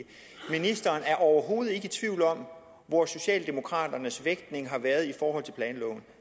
ministeren er overhovedet ikke i tvivl om hvor socialdemokraternes vægtning har været i forhold til planloven